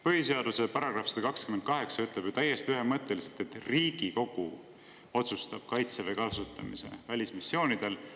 Põhiseaduse § 128 ütleb ju täiesti ühemõtteliselt, et Riigikogu otsustab kaitseväe kasutamise välismissioonidel.